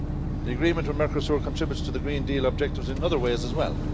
The agreement with Mercosur contributes to the Green Deal objectives in other ways as well.